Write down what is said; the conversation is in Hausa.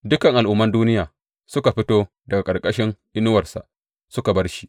Dukan al’umman duniya suka fito daga ƙarƙashin inuwarsa suka bar shi.